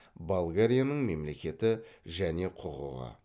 болгарияның мемлекеті және құқығы